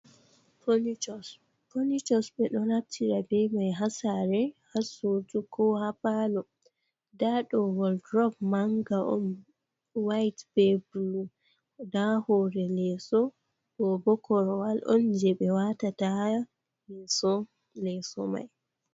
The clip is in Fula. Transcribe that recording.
Furniture, furnitures ɓe ɗo naftira bee man haa saare haa suud kao haa paalo ndaa ɗo walldrop mannga on white bee blue ndaa hoore leeso ɗoo boo korowal on jey e waatata mirror leeso man